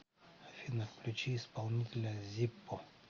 афина включи исполнителя зиппо